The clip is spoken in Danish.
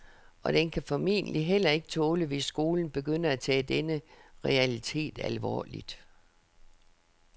Og den kan formentlig heller ikke tåle hvis skolen begynder at tage denne realitet alvorligt.